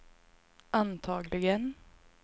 antagligen